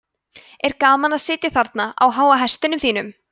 er gaman að sitja þarna á háa hestinum þínum